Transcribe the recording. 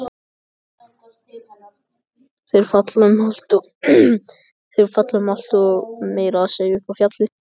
Þeir fara um allt, meira að segja upp í fjall.